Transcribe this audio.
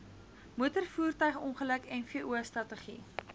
motorvoertuigongeluk mvo strategie